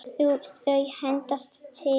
Þau hendast til.